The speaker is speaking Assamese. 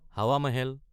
হাৱা মহল